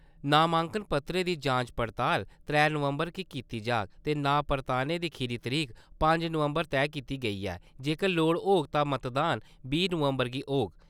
नामांकन पत्रें दी जांच पड़ताल त्रै नवम्बर गी कीती जाग ते नांऽ परताने दी खीरी तरीक पंज नवम्बर तय कीती गेई ऐ, जेकर लोड़ होग तां मतदान बीह् नवम्बर गी होग।